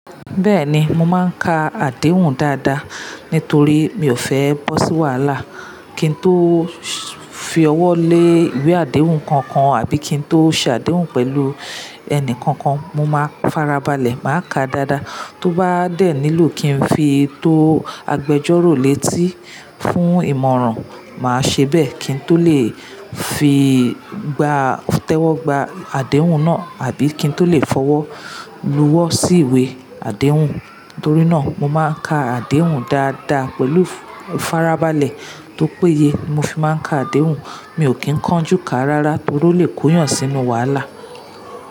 Bẹ́ẹ̀ni, mo máa ń ka àdéhùn dáadáa nítorí mi ò fẹ́ ẹ bọ́ sí wàhálà. Kí n tó fi ọwọ́ lé ìwé àdéhùn kankan àbí kí n tó ṣe àdéhùn pẹ̀lú ẹni kankan, mo máa farabalẹ̀ máa ka dáadáa. Tó bá dẹ̀ nílò kí n fi tò agbẹjọ́rò létí fún ìmọ̀ràn, màá ṣe bẹ́ẹ̀ kí n tó lè fi gbá tẹ́wọ́gbà àdéhùn náà àbí kí n tó lè fọwọ́ lù wọ́ sí ìwé àdéhùn. Nítorí náà, mo máa ń ka àdéhùn dáadáa pẹ̀lú farabalẹ̀ tó péye mo fi máa ń ka àdéhùn. Mi ò kín ń kánjú ká rárá torí ó lè kóyàn sínú wàhálà.